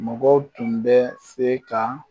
Mɔgɔw tun bɛ se ka